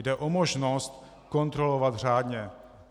Jde o možnost kontrolovat řádně.